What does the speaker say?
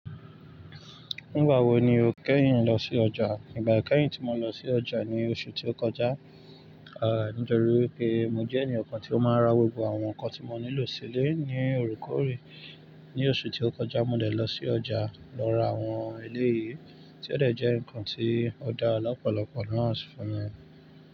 Nígbà wo ni o kẹ́yìn lọ sí ọjà? Nígbà kẹ́yìn tí mo lọ sí ọjà ni oṣù tí ó kọjá, nítọrí pé mo jẹ́ ènìyàn kan tí ó máa ń ra gbogbo àwọn nǹkan tí mo nílò silé ní òre kòore. Ní oṣù tí ó kọjá, mo dẹ̀ lọ sí ọjà lọ ra àwọn eleyìí, tí ó dẹ̀ jẹ́ nǹkan tí o daà lọ̀pọ̀lọpọ̀ náà fún mi.